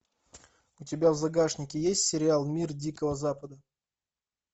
у тебя в загашнике есть сериал мир дикого запада